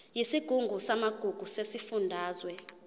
yesigungu samagugu sesifundazwe